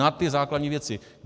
Na ty základní věci.